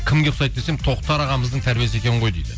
кімге ұқсайды десем тоқтар ағамыздың тәрбиесі екен ғой дейді